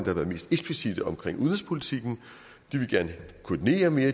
har været mest eksplicitte om udenrigspolitikken de vil gerne koordinere mere